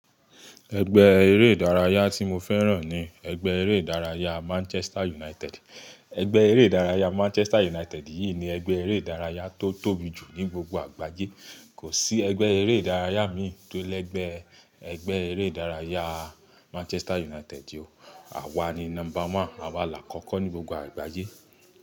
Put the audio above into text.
Ẹgbẹ́ eré ìdárayá tí mo fẹ́ràn ni ẹgbẹ́ eré ìdárayá Manchester United. Ẹgbẹ́ eré ìdárayá Manchester United yìí ni ẹgbẹ́ eré ìdárayá tó tóbi jù ní gbogbo àgbáyé. Kò sí ẹgbẹ́ eré ìdárayá mi tó lẹ́gbẹ ẹgbẹ́ eré ìdárayá Manchester United. Àwa ni number one, àwa làkọ̀ọ́kọ́ ní gbogbo àgbáyé.